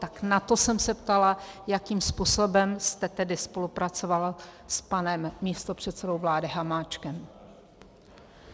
Tak na to jsem se ptala, jakým způsobem jste tedy spolupracoval s panem místopředsedou vlády Hamáčkem.